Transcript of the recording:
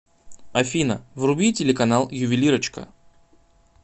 афина вруби телеканал ювелирочка